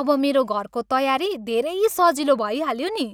अब मेरो घरको तयारी धेरै सजिलो भइहाल्यो नि।